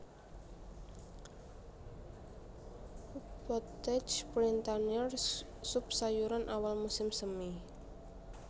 Potage Printanier sup sayuran awal musim semi